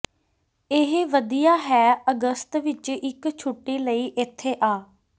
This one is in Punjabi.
ਇਹ ਵਧੀਆ ਹੈ ਅਗਸਤ ਵਿੱਚ ਇੱਕ ਛੁੱਟੀ ਲਈ ਇੱਥੇ ਆ